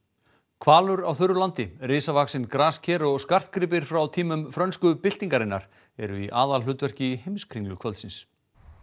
Hvalur á þurru landi risavaxin grasker og skartgripir frá tímum frönsku byltingarinnar eru í aðalhlutverki í heimskringlu kvöldsins